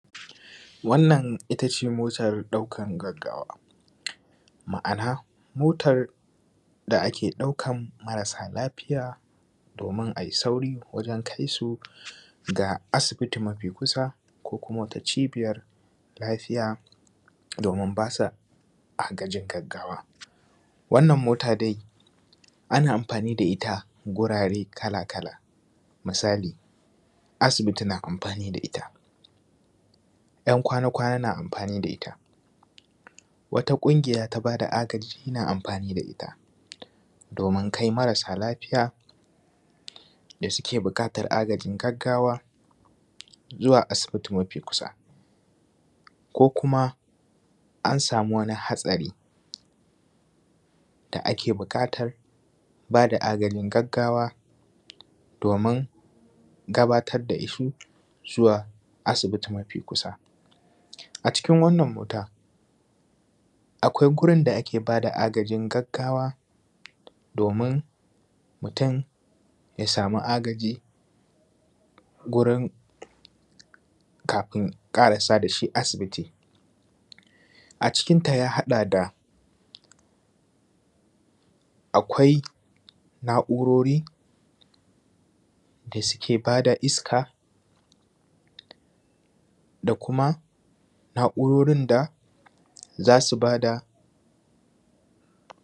wannan itace motan ɗaukan gaggawa ma’ana motan da ake ɗaukan marasa lafiya domin ai sauri wajen kai su ga asibiti mafi kusa ko kuma wata cibiyan lafiya domin ba su agajin gaggawa wannan mota dai ana amfani da ita wurare kala kala misali asibiti na amfani da ita Ɂyan kwana kwana na amfani da ita wata ƙungiya ta ba da agaji ta ba da ita domin kai marasa lafiya da suke buƙatar agajin gaggawa zuwa asibiti mafi kusa ko kuma an samu wani hatsari da ake buƙatar ba da agajin gaggawa domin gabatar da shi zuwa asibiti mafi kusa a cikin wannan mota akwai gurin da ake ba da agajin gaggawa domin mutum ya samu agaji gurin kafin ƙarasa da shi asibiti a cikin ta ya haɗa da akwai na’urorin da suke ba da iska da kuma na’urorin da za su ba da